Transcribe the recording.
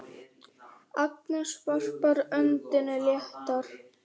Agnes varpar öndinni léttar.